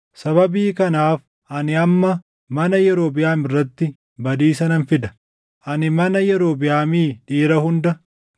“ ‘Sababii kanaaf ani amma mana Yerobiʼaam irratti badiisa nan fida. Ani mana Yerobiʼaamii dhiira hunda,